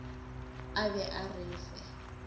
a be a re fe